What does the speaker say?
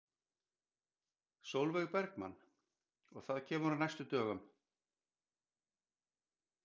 Sólveig Bergmann: Og það kemur á næstu dögum?